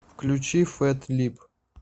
включи фэт лип